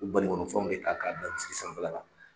I bɛ banikɔnɔ fanw de ta k'a da sanfɛla la.